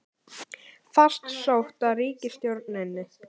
Fast sótt að ríkisstjórninni